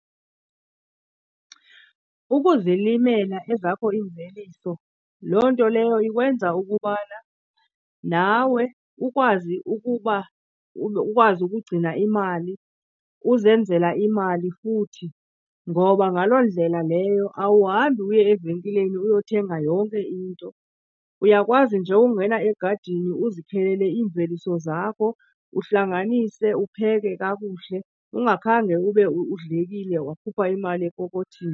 Ukuzilimela ezakho iimveliso, loo nto leyo ikwenza ukubana nawe ukwazi ukuba ukwazi ukugcina imali, uzenzela imali futhi, ngoba ngaloo ndlela leyo awuhambi uye evenkileni uyothenga yonke into. Uyakwazi nje ungena egadini uzikhelele iimveliso zakho, uhlanganise upheke kakuhle ungakhange ube udlekile wakhupha imali epokothini.